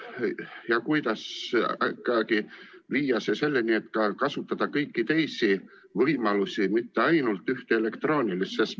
Kuidas ikkagi viia see selleni, et saaks kasutada ka kõiki teisi võimalusi, mitte ainult ühte, elektroonilist?